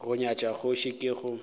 go nyatša kgoši ke go